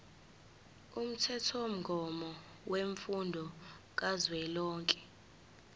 umthethomgomo wemfundo kazwelonke